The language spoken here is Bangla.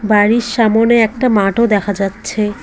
বাড়ির সামনে একটা মাঠও দেখা যাচ্ছে।